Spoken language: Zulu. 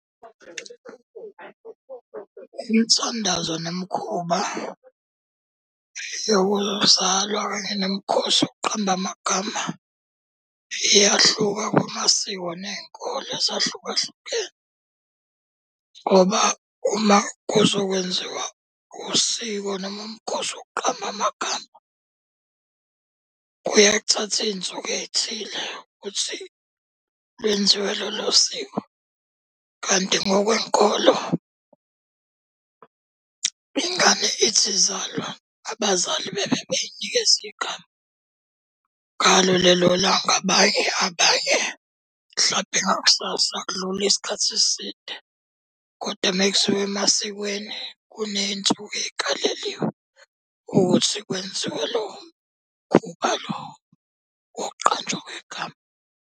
Imithandazo nemikhuba yokuzalwa kanye nemikhosi yokuqamba amagama iyahluka kwamasiko ney'nkolo ezahlukahlukene. Ngoba uma kuzokwenziwa usiko noma umkhosi wokuqamba amagama, kuyeke kuthathe iy'nsuku ey'thile ukuthi lwenziwe lolo siko. Kanti ngokwenkolo, ingane ithi izalwa abazali bebe beyinikeza igama ngalo lelo langa, abanye mhlampe ngakusasa akudluli isikhathi eside. Kodwa uma kusuka emasikweni kuney'nsuku ey'kaleliwe ukuthi kwenziwe lowo mkhuba lowo wokuqanjwa kwegama.